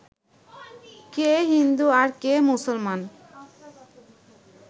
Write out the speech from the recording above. কে হিন্দু আর কে মুসলমান